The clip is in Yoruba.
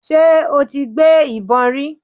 Ṣé o ti gbé ìbọn rí.?